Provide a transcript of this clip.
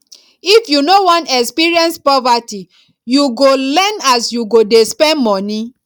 if you no wan experience poverty you go learn as you go dey spend moni